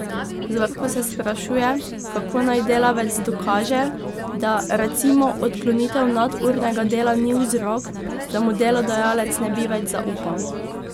Zorko se sprašuje, kako naj delavec dokaže, da, recimo, odklonitev nadurnega dela ni vzrok, da mu delodajalec ne bi več zaupal.